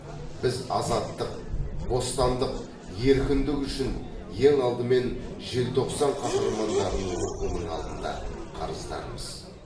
біз азаттық бостандық еркіндік үшін ең алдымен желтоқсан қаһармандарының рухының алдында қарыздармыз